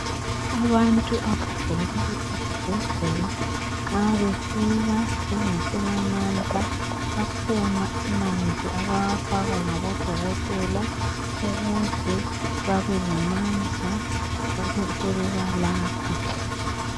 Abantu abagulayo ezibhedlela nxa befika bengasela mandla akhona amanzi abawafakwa ngabodokotela ukuze babelamandla babesebebalapha.